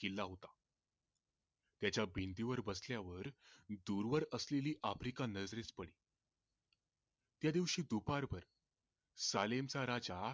किल्ला होता त्याचा भिंतींवर बसल्यावर दूरवर असलेली अप्रिका नजरेस पडली त्या दिवशी दुपारभर राजा